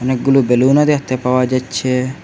অনেকগুলো বেলুনও দ্যাখতে পাওয়া যাচ্ছে।